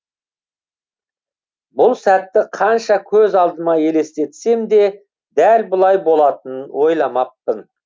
бұл сәтті қанша көз алдыма елестетсем де дәл бұлай болатынын ойламаппын